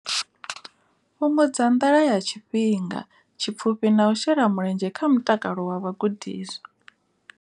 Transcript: Fhungudza nḓala ya tshifhinga tshipfufhi na u shela mulenzhe kha mutakalo wa vhagudiswa.